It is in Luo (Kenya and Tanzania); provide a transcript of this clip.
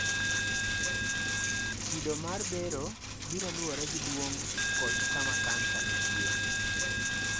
Kido mar bero biro luwore gi duong� kod kama kansa nitie.